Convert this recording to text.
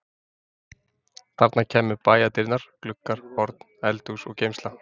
Þarna kæmu bæjardyrnar, gluggar, horn, eldhús og geymsla.